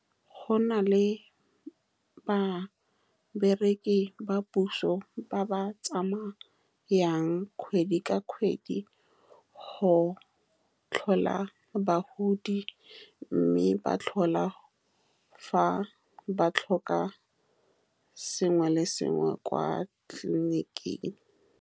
Go na le ba bereki ba puso ba ba tsamayang kgwedi ka kgwedi go tlhola bagodi, mme ba tlhola fa ba tlhoka sengwe le sengwe kwa tleliniking.